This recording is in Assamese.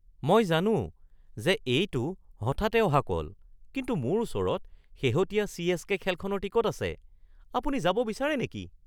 মই জানো যে এইটো হঠাতে অহা কল, কিন্তু মোৰ ওচৰত শেহতীয়া চি.এচ.কে. খেলখনৰ টিকট আছে। আপুনি যাব বিচাৰে নেকি?